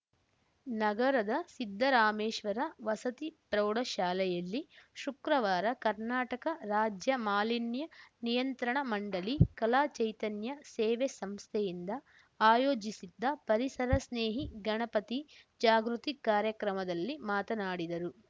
ನಗರದ ಸಿದ್ದರಾಮೇಶ್ವರ ವಸತಿ ಪ್ರೌಢಶಾಲೆಯಲ್ಲಿ ಶುಕ್ರವಾರ ಕರ್ನಾಟಕ ರಾಜ್ಯ ಮಾಲಿನ್ಯ ನಿಯಂತ್ರಣ ಮಂಡಳಿ ಕಲಾ ಚೈತನ್ಯ ಸೇವೆ ಸಂಸ್ಥೆಯಿಂದ ಆಯೋಜಿಸಿದ್ದ ಪರಿಸರ ಸ್ನೇಹಿ ಗಣಪತಿ ಜಾಗೃತಿ ಕಾರ್ಯಕ್ರಮದಲ್ಲಿ ಮಾತನಾಡಿದರು